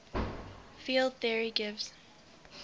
field theory gives